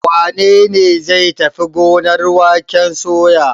Wane ne zai tafi gonar waken soya?